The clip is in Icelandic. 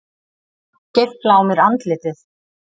Geifla á mér andlitið.